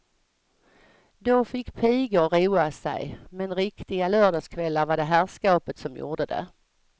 Då fick pigor roa sig, men riktiga lördagskvällar var det herrskapet som gjorde det.